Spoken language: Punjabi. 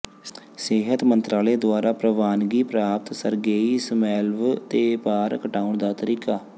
ਸਿਹਤ ਮੰਤਰਾਲੇ ਦੁਆਰਾ ਪ੍ਰਵਾਨਗੀ ਪ੍ਰਾਪਤ ਸਰਗੇਈ ਸਮੈਲਵ ਦੇ ਭਾਰ ਘਟਾਉਣ ਦਾ ਤਰੀਕਾ